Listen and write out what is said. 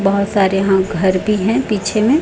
बहोत सारे यहां घर भी हैं पीछे में--